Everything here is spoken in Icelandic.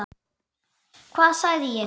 Hvað sagði ég?